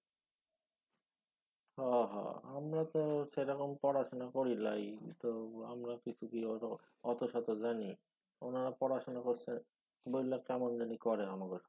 হ হ। আমরা তো সেরকম পড়াশুনা করি লাই তো আমরা কিছুকি অতশত জানি ওনারা পড়াশুনা করসে বইলা কেমন জানি করে আমাগো